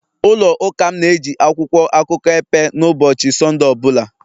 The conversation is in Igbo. ụlọ Ụka m na-eji akwụkwọ akụkọ epe na ụbọchị Sọnde ọ bụla